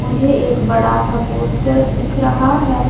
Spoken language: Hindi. मुझे एक बड़ा सा पोस्टर दिख रहा है।